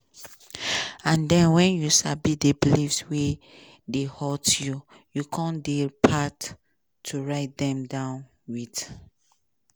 and den wen you sabi di beliefs wey dey hurt you come di part to write dem down wit